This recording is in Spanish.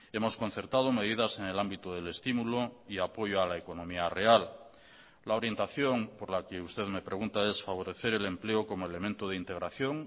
hemos concertado medidas en el ámbito del estímulo y apoyo a la economía real la orientación por la que usted me pregunta es favorecer el empleo como elemento de integración